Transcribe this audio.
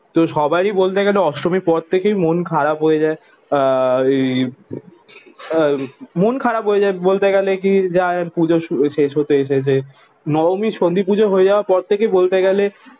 তো সবারই বলতে গেলে অষ্টমীর পর থেকেই মন খারাপ হয়ে যায়। আহ ওই আহ মন খারাপ হয় যায় বলতে গেলে কি যায় পুজো শু শেষ হতে এসেছে। নবমী সন্ধিপুজো হয়ে যাওয়ার পর থেকে বলতে গেলে